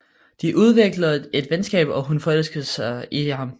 De udvikler et venskab og hun forelsker sig i ham